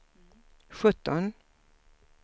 sjutton